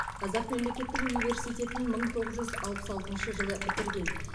қазақ мемлекеттік университетін мың тоғыз жүз алпыс алтыншы жылы бітірген